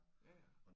Ja ja